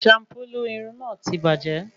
Shampulu Irun náà tí bàjẹ́